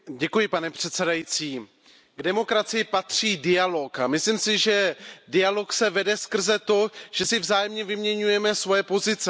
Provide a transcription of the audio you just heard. Pane předsedající, k demokracii patří dialog a myslím si, že dialog se vede skrze to, že si vzájemně vyměňujeme svoje pozice.